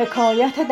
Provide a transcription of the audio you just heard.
یکی